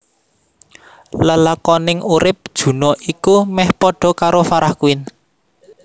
Lelakoning urip Juna iku meh padha karo Farah Quinn